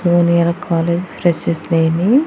college freshers day ని--